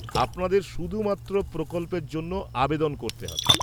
-আপনাদের শুধুমাত্র প্রকল্পের জন্য আবেদন করতে হবে।